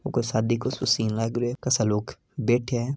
यो कोई शादी को सीन लाग रो है खासा लोग बेठे है।